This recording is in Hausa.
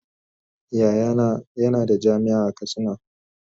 Yayana yana da jami'a a katsina.